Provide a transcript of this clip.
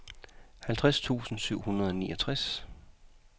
halvtreds tusind syv hundrede og niogtres